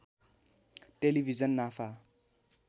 television नाफा